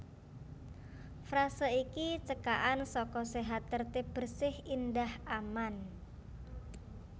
Frase iki cekakan saka sehat tertib bersih indah aman